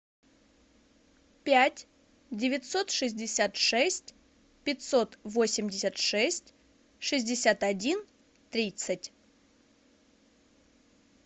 пять девятьсот шестьдесят шесть пятьсот восемьдесят шесть шестьдесят один тридцать